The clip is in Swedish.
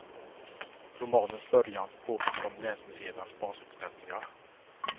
Romanens början påminner om länsmuseernas basutställningar.